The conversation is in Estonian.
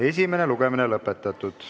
Esimene lugemine on lõpetatud.